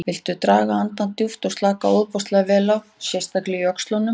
Viltu draga andann djúpt og slaka ofboðslega vel á, sérstaklega í öxlunum.